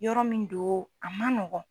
Yɔrɔ min do a man nɔgɔn.